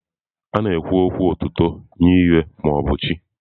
A na-ekwu okwu otuto nye ihe, mmadụ ma ọ bụ chi.